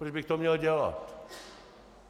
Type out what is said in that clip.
Proč bych to měl dělat?